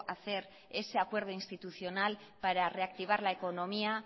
hacer ese acuerdo institucional para reactivar la economía